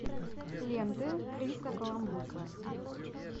ленты криса коламбуса